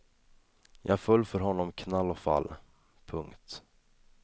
Jag föll för honom knall och fall. punkt